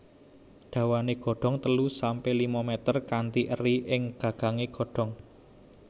Dawané godong telu sampe lima mèter kanthi eri ing gagang godhongé